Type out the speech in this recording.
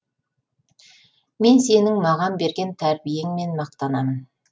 мен сенің маған берген тәрбиеңмен мақтанамын